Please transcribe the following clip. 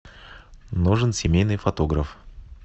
нужен семейный фотограф